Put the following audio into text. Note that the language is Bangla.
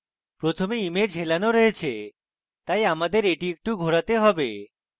প্রথমে image হেলানো রয়েছে তাই আমাদের এটি একটু ঘোরাতে have